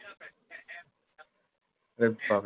ওরে বাপরে!